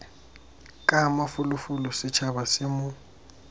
ka mafolofolo setšhaba se mo